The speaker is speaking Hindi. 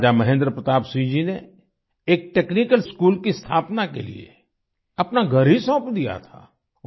राजा महेंद्र प्रताप सिंह जी ने एक टेक्निकल स्कूल की स्थापना के लिए अपना घर ही सौंप दिया था